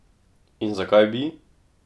In zakaj bi?